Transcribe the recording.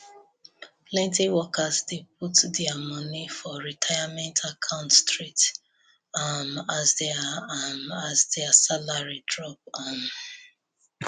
plenty workers dey put their money for retirement account straight um as their um as their salary drop um